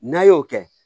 N'a y'o kɛ